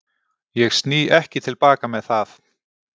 Ég sný ekki til baka með það.